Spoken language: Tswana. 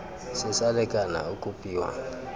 se sa lekana o kopiwa